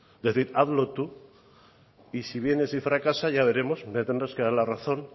decir hazlo tú y si vienes y fracasa ya veremos me tendrás que dar la razón